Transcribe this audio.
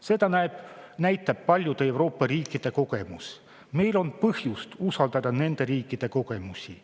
Seda näitavad paljude Euroopa riikide kogemused ja meil on põhjust usaldada nende riikide kogemusi.